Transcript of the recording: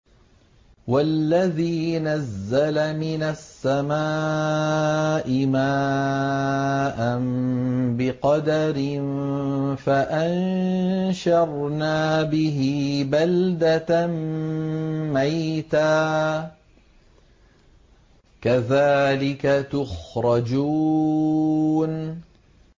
وَالَّذِي نَزَّلَ مِنَ السَّمَاءِ مَاءً بِقَدَرٍ فَأَنشَرْنَا بِهِ بَلْدَةً مَّيْتًا ۚ كَذَٰلِكَ تُخْرَجُونَ